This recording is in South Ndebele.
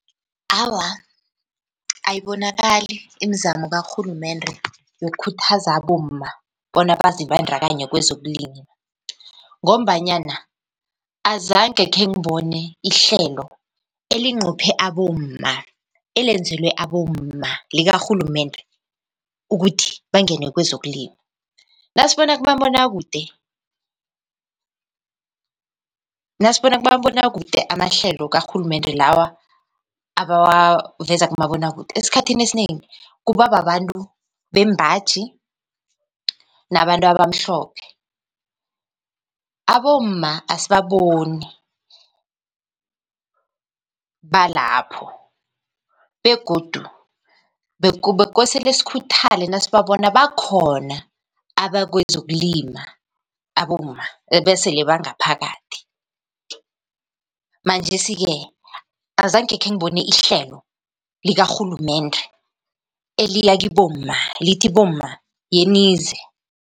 Awa, ayibonakali imizamo karhulumende yokukhuthaza abomma bona bazibandakanye kwezokulima, ngombanyana azange khengibone ihlelo elinqophe abomma, elenzelwe abomma likarhulumende ukuthi bangene kwezokulima. Nasibona kumabonwakude, nasibona kumabonwakude amahlelo karhulumende, lawa abawaveza kumabonwakude, esikhathini esinengi kuba babantu bembaji nabantu abamhlophe, abomma asibaboni balapho. Begodu bekosele sikhuthale nasibabona bakhona bakwezokulima abomma, ebesele bangaphakathi, manjesi-ke azange khengibone ihlelo likarhulumende eliya kibomma lithi, bomma yenize.